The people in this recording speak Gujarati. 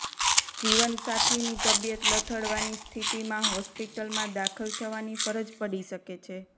જીવનસાથીની તબિયત લથડવાની સ્થિતિમાં હોસ્પિટલમાં દાખલ થવાની ફરજ પડી શકે છે